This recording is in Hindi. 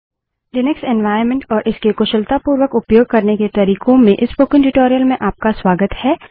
लिनक्स एन्वाइरन्मेंट और इसके कुशलतापूर्वक उपयोग करने के तरिकों में इस स्पोकन ट्यूटोरियल में आपका स्वागत है